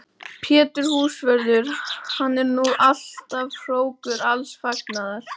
Pétur húsvörður, hann er nú alltaf hrókur alls fagnaðar!